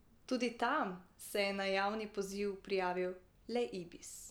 Tudi tam se je na javni poziv prijavil le Ibis.